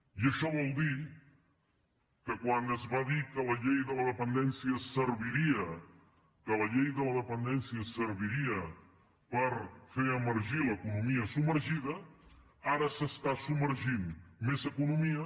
i això vol dir que quan es va dir que la llei de la dependència serviria per fer emergir l’economia submergida ara s’està submergint més economia